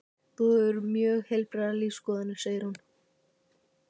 Þú hefur mjög heilbrigðar lífsskoðanir, segir hún.